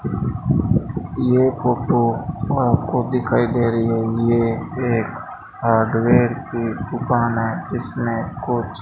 ये फोटो आपको दिखाई दे रही है यह एक हार्डवेयर की दुकान है जिसमें कुछ --